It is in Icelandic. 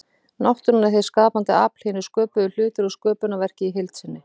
Náttúran er hið skapandi afl, hinir sköpuðu hlutir og sköpunarverkið í heild sinni.